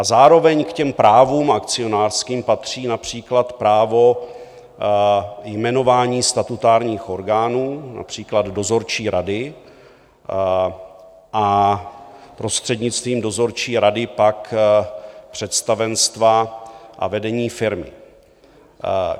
A zároveň k těm právům akcionářským patří například právo jmenování statutárních orgánů, například dozorčí rady, a prostřednictvím dozorčí rady pak představenstva a vedení firmy.